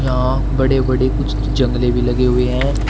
यहां बड़े बड़े कुछ जंगले भी लगे हुए हैं।